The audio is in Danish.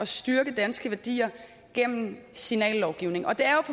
styrke danske værdier gennem signallovgivning og det er